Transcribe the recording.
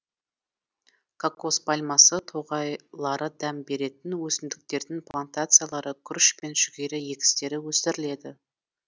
кокос пальмасы тоғайлары дәм беретін өсімдіктердің плантациялары күріш пен жүгері егістері өсіріледі